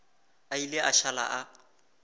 a ile a šala a